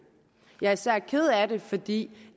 jeg er især ked af det fordi